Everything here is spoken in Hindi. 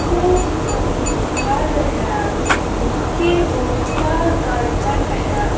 एक घर है जिसके ऊपर करकट है।